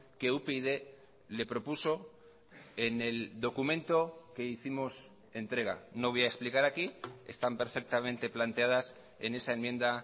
que upyd le propuso en el documento que hicimos entrega no voy a explicar aquí están perfectamente planteadas en esa enmienda